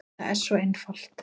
Það er svo einfalt.